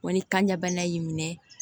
Wa ni kanjana y'i minɛ